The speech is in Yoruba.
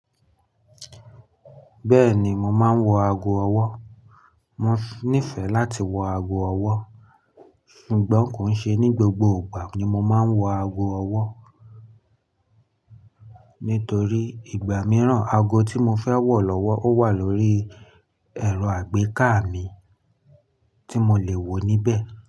Bẹ́ẹ̀ni, mo máa ń wọ ago ọwọ́. Mo nífẹ̀ẹ́ láti wọ ago ọwọ́, ṣùgbọ́n kò ń ṣe ní gbogbo ìgbà ni mo máa ń wọ ago ọwọ́. Nítorí ìgbà mìíràn ago tí mo fẹ́ wọ̀ lọ́wọ́ ó wà lórí ẹ̀rọ àgbékáà mi tí mo lè wọ̀ níbẹ̀.